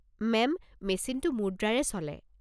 Ma'am, মেচিনটো মুদ্ৰাৰে চলে।